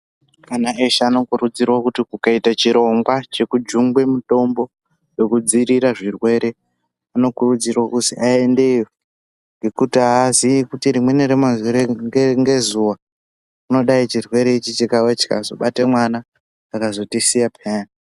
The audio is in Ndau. Ana eshe anokurudzirwe kuti kukaite chirongwa chokujunge mitombo wokudziirira zvirwere anokurudzirwa kuzi aendeyo ngokutiaaziye kuti rimweni remazuva unodayi churwere ichi chikazobate mwana akatisiya peyani.